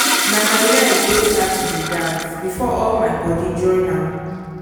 na my leg wey start to dey dance before all my body join am